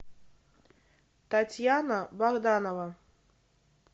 татьяна богданова